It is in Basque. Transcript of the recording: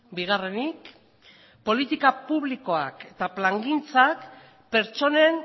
bigarrenik politika publikoak eta plangintzak pertsonen